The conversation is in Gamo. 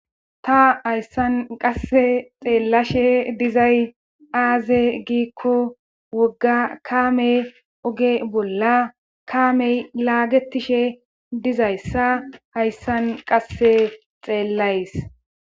ta hayssan qasse xeellashe dizay aaze giikko wogga kaamey oge bolla kaamey laagetishe dizayssa hayssan qasse xeellays